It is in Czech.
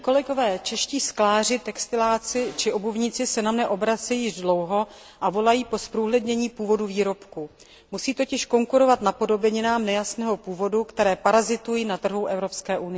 Čeští skláři, výrobci textilu či obuvníci se na mne obracejí již dlouho a volají po zprůhlednění původu výrobku. Musí totiž konkurovat napodobeninám nejasného původu, které parazitují na trhu Evropské unie.